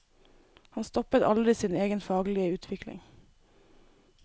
Han stoppet aldri sin egen faglige utvikling.